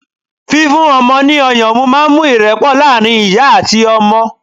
fífún ọmọ ni ọyàn mu ma ń mú ìrepo laarin ìyá ati ọmọ